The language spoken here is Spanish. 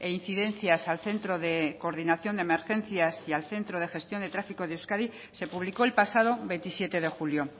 incidencias al centro de coordinación de emergencias y al centro de gestión de tráfico de euskadi se publicó el pasado veintisiete de julio